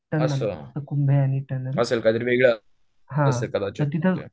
हं हं असेल काहीतरी वेगळं असेल कदाचित